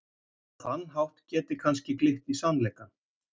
Á þann hátt geti kannski glitt í sannleikann.